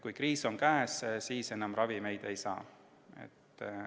Kui kriis on käes, siis enam ravimeid ei saa.